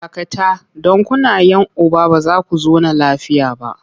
Dakata! don kuna 'yan uba ba za ku zauna lafiya ba!